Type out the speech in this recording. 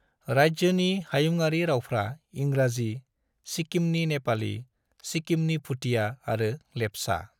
राज्योनि हायुङारि रावफ्रा इंराजि, सिक्किमनि नेपाली, सिक्किमनि भूटिया आरो लेपचा।